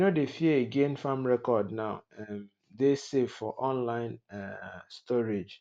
we no dey fear again farm record now um dey safe for online um storage